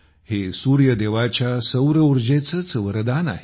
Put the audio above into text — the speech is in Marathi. हे सूर्यदेवाच्या सौरऊर्जेचेच वरदान आहे